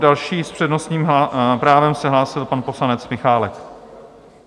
Další s přednostním právem se hlásil pan poslanec Michálek.